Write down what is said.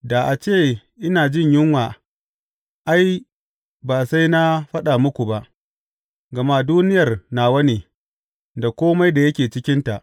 Da a ce ina jin yunwa ai, ba sai na faɗa muku ba, gama duniyar nawa ne, da kome da yake cikinta.